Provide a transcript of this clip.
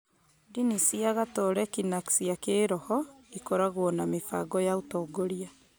Ndini cia Gatoreki na cia kĩroho ikoragwo na mĩbango ya ũtongoria.